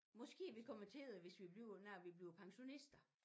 Måske vi kommer til det hvis vi bliver når vi bliver pensionister